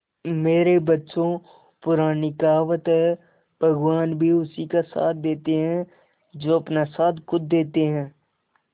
मेरे बच्चों पुरानी कहावत है भगवान भी उसी का साथ देते है जो अपना साथ खुद देते है